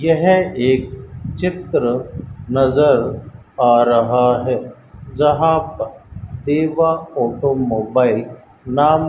यह एक चित्र नजर आ रहा है जहां प देवा ऑटोमोबाइल नाम --